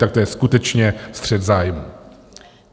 ... tak to je skutečně střet zájmů.